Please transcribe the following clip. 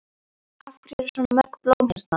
Af hverju eru svona mörg blóm hérna?